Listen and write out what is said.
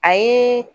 A ye